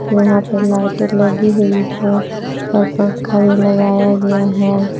वहां पर लाइटें लगी हुई है और पंखा भी लगाया गया है।